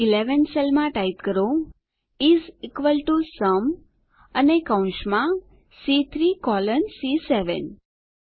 C11 સેલમાં is equal to sum type કરો અને કૌંસમાં સી3 કોલન સી7